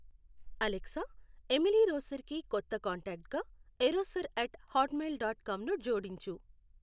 Alexa Emily రోసర్కి కొత్త కాంటాక్ట్గా ఎరోసర్ అట్ హాట్మెయిల్ డాట్ కామ్ను జోడించు